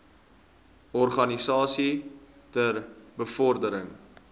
organisasies ter bevordering